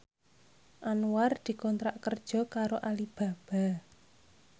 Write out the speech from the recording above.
Anwar dikontrak kerja karo Alibaba